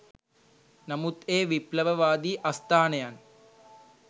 නමුත් ඒ විප්ලවවාදී අස්ථානයන්